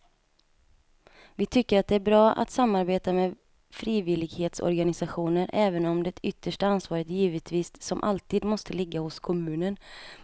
Vi tycker att det är bra att samarbeta med frivillighetsorganisationer även om det yttersta ansvaret givetvis som alltid måste ligga hos kommunen.